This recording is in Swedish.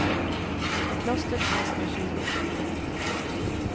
I klostret finns nu tjugo flyktingar.